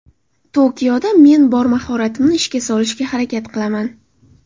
Tokioda men bor mahoratimni ishga solishga harakat qilaman.